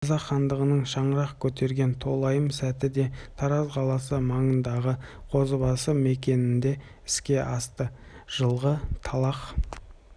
қазақ хандығының шаңырақ көтерген толайым сәті де тараз қаласы маңындағы қозыбасы мекенінде іске асты жылғы атлах